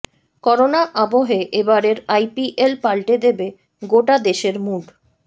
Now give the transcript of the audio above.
corona আবহে এবারের IPL পালটে দেবে গোটা দেশের মুড